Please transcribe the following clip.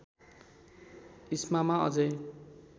इस्मामा अझै